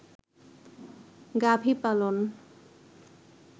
গাভী পালন